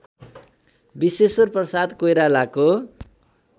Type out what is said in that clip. विश्वेश्वर प्रसाद कोइरालाको